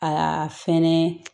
Aa fɛnɛ